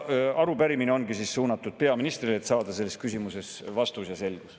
Arupärimine ongi suunatud peaministrile, et saada vastus ja selles küsimuses selgus.